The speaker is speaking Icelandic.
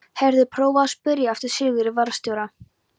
Heyrðu. prófaðu að spyrja eftir Sigurði varðstjóra.